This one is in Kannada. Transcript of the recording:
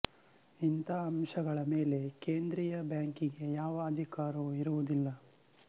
ಇಂಥ ಅಂಶಗಳ ಮೇಲೆ ಕೇಂದ್ರೀಯ ಬ್ಯಾಂಕಿಗೆ ಯಾವ ಅಧಿಕಾರವೂ ಇರುವುದಿಲ್ಲ